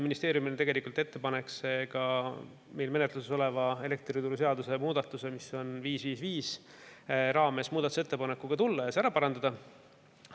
Ministeeriumil on tegelikult ettepanek meil menetluses oleva elektrituruseaduse muutmise 555 kohta muudatusettepanek ja see ära parandada.